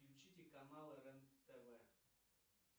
включите канал рен тв